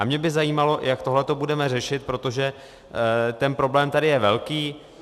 A mě by zajímalo, jak tohleto budeme řešit, protože ten problém tady je velký.